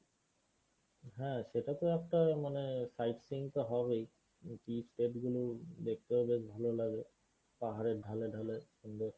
হ্যাঁ সেটা তো একটা মানে side seeing তো হবেই tea state গুলো দেখতেও বেশ ভালো লাগে পাহাড়ের ঢালে ঢালে সুন্দর।